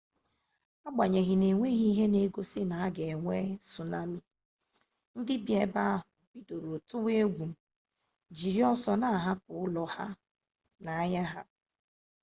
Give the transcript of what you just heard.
agbanyeghị na enweghị ihe n'egosi na a ga-enwe sunami ndi bi ebe ahụ bidoro tụwa egwu jiri ọsọ na-ahapụsị ụlọ na ahịa ha